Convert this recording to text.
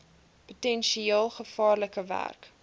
potensieel gevaarlike werk